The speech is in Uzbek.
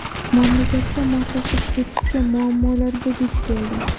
Mamlakatga moslashib ketishga muammolarga duch keldim.